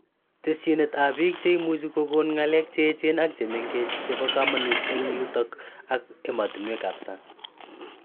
Teshinet ab biik che imuchi kokon ng'alek chemengech ak cheechen chebo kamanut eng yutok ak emetunwekab sang